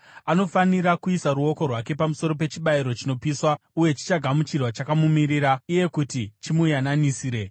Anofanira kuisa ruoko rwake pamusoro pechibayiro chinopiswa uye chichagamuchirwa chakamumirira iye kuti chimuyananisire.